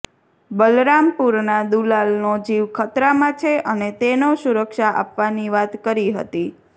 બલરામપુરના દુલાલનો જીવ ખતરામાં છે અને તેનો સુરક્ષા આપવાની વાત કરી હતી